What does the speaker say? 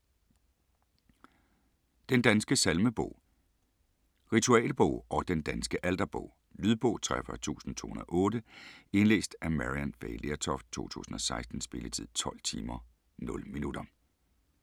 Den danske salmebog - Ritualbog og Den danske alterbog Lydbog 43208 Indlæst af Maryann Fay Lertoft, 2016. Spilletid: 12 timer, 0 minutter.